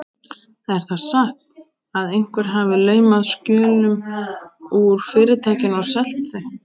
Er það satt, að einhver hafi laumað skjölum úr Fyrirtækinu og selt þau?